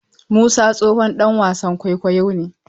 Musa tsohon ɗan wasan kwaikwayo ne.